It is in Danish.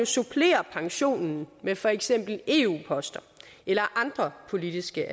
supplere pensionen med for eksempel eu poster eller andre politiske